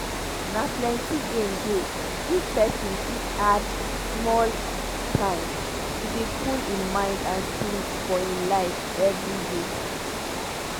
na plenty gain dey if pesin fit add small time to dey cool im mind and spirit for hin life everyday.